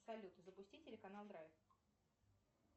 салют запусти телеканал драйв